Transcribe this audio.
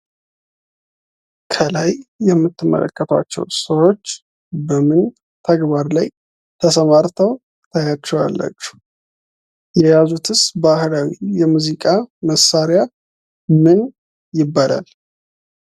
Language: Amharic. ከላይ የምትመለከቷቸው ሰዎች በምን ተግባር ላይ ተሰማርተው ተያቸዋላችሁ? የያዙትስ ባህላዊ የሙዚቃ መሳሪያ ምን ይባላል?